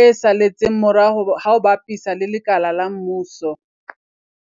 e saletseng morao ha o bapisa le lekala la mmuso.